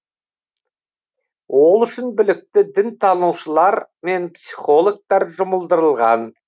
ол үшін білікті дінтанушылар мен психологтар жұмылдырылған